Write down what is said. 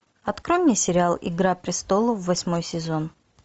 открой мне сериал игра престолов восьмой сезон